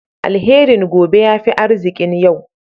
Alherin gobe ya fi arzikin yau.